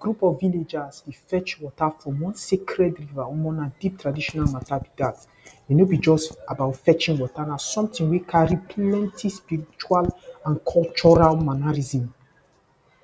Group of villagers dey fetch water from one sacred river omo! Na deep traditional matter be dat. E no be just about fetching water. Na something wey carry plenty spiritual and cultural mannerism.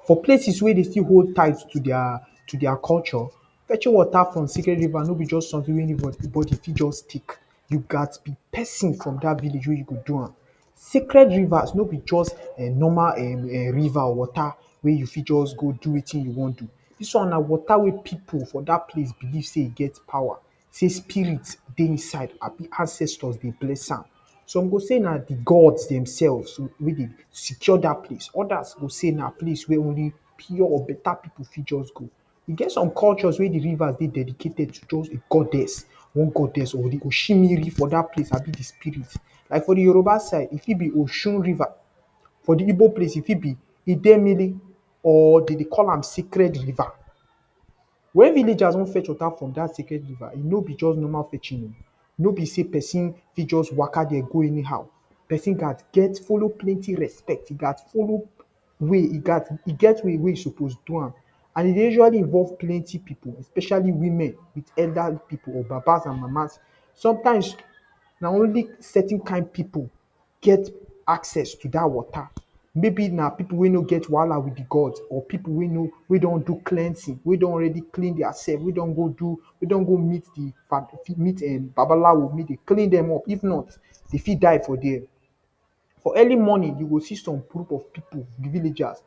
For places wey dey still hold ties to their, to their culture. Fetching water from sacred river no be something wey anybody fit just pick. You gats be pesin from dat village wey you go do am. Sacred rivers, no be just normal, um! Um! River water. Wey you fit just go do wetin you wan go do. Dis one na water wey people for dat place believe say e get power. Say spirit dey inside and ancestors dey bless am. Some go say na the Gods dem selves wey dey secure dat place. Others go say na place wey dey pure better people fit just go. E get some culture wey the river dey dedicate to just the goddess one goddess. The wey dey for dat place abi the spirit. Like for the Yoruba side e fit be Osun river. For the Igbo side e dit be the Idimiri or the dey dey call am sacred river. When villagers don fetch water from dat river no be just ordinary fetching oh! No be say pesin fit just waka dey go anyhow. Pesin gats get follow plenty respect. E gats follow way, e gets way wey e suppose do am. And e usually plenty people especially women with elderly people. With Babas and Mamas. Sometimes, na only certain kind people get access to dat water. Maybe, na people wey no get wahala with the Gods or people wey no, we don do cleansing. Wey don already cleanse their selves. We don go do, wey don go meet the um! Babalawo make dem clean dem up if not dey fit die for their. For early morning you go see some group of people the villagers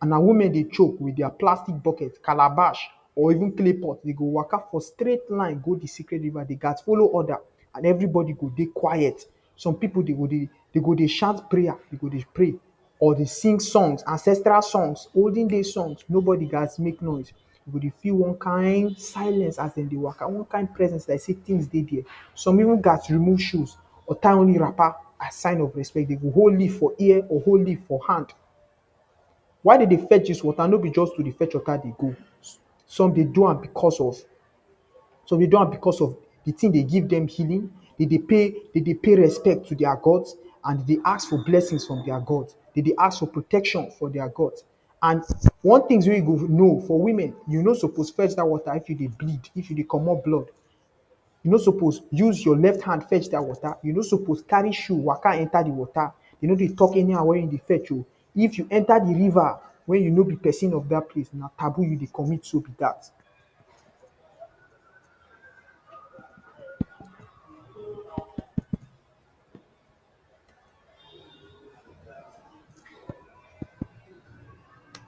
and na women dey choke with their plastic buckets, calabash or even clay pot dey waka for straight line go the sacred river. Dey gats follow order and everybody go dey quiet. Some people go dey, dey go dey shout prayers. Dey go dey pray or dey sing songs ancestral songs, olden days songs nobody gats make noise. You go dey feel on kin silence as dey dey waka. One kin presence like say things dey there. Some even gats remove shoes or tie only wrapper as sign of respect. Dey go hold lear for ear or hold leaf for hand. Why dey dey fetch dis water no be to just dey fetch dis water dey go. Some dey do am because of, some dey do am because the thing dey give dem healing. Dey dey pay respect to their Gods and dey dey ask for blessings from their Gods. Dey dey ask for protection from their Gods. And one things wey you go know. For women you no suppose fetch dat water if you dey bleed. If you dey comot blood. You no suppose use your left hand fetch dat water. You no suppose carry shoes waka enter inside the water. You no dey talk anyhow when you dey fetch oh! If you enter the river when you no be pesin of dat place na taboo you dey commit so be dat.